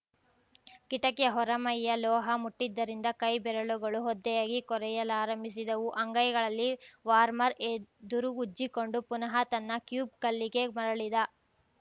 ಕಿಟಕಿಯ ಹೊರಮೈಯ ಲೋಹ ಮುಟ್ಟಿದ್ದರಿಂದ ಕೈಬೆರಳುಗಳು ಒದ್ದೆಯಾಗಿ ಕೊರೆಯಲಾರಂಭಿಸಿದವು ಅಂಗೈಗಳಲ್ಲಿ ವಾರ್ಮರ್‌ ಎದುರು ಉಜ್ಜಿಕೊಂಡು ಪುನಃ ತನ್ನ ಕ್ಯೂಬ್ ಕಲ್ಲಿಗೆ ಮರುಳಿದ